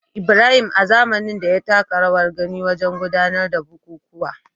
Ibrahim, a zamanin da, ya taka rawar gani wajen gudanar da bukukuwa